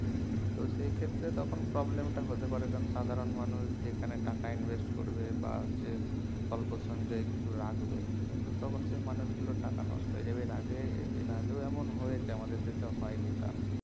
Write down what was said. তো সেই ক্ষেত্রে তখন problem টা হতে পারে যেমন সাধারণ মানুষ যেখানে টাকা invest করবে বা হচ্ছে অল্প সঞ্চয় কিছু রাখবে তো তখন সেই মানুষ গুলোর টাকা নষ্ট হয়ে যাবে এর আগে এর আগেও এমন হয়েছে আমাদের দেশে হয়নি তা না